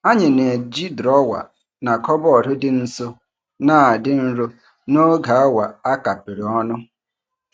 Anyị na-eji drọwa na kọbọd dị nso na-adị nro n'oge awa a kapịrị ọnụ.